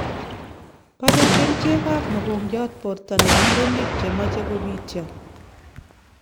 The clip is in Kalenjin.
Baree kercheek ab mokongiat borta nebo murenik che machei kobityo